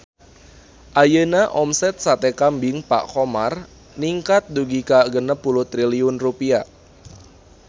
Ayeuna omset Sate Kambing Pak Khomar ningkat dugi ka 60 triliun rupiah